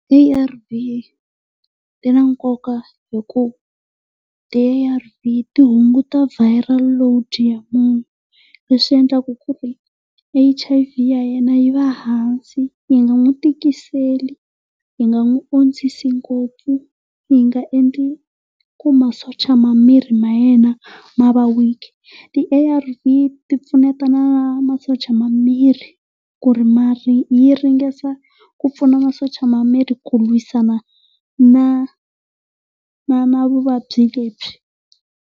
A_R_V i ya nkoka hi ku ti-A_R_V ti hunguta viral ya munhu leswi endlaka ku ri H_I_V ya yena yi va hansi. Yi nga n'wi tikiseli, yi nga n'wi ondzisi ngopfu, yi nga endli ku maschocha ma miri ma yena ma va weak. Ti-A_R_V ti pfuneta na masocha ma miri ku ri ma ri yi ringesa ku pfuna masocha ma miri ku lwisana na na na vuvabyi lebyi.